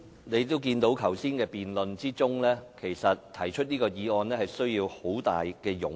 你也看到剛才辯論的情況，要動議這項議案實在需要很大勇氣。